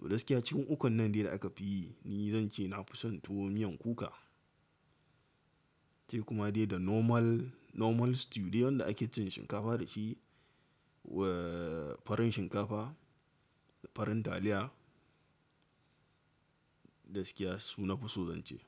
To gaskiya cikin ukun nan dai da aka fi yi, ni zan ce na fi son tuwo miyan kuka. Sai kuma dai da normal, normal stew dai wanda ake cin shinkafa da shi wa farin shinkafa da farin taliya, da gaskiya su na fi so zan ce.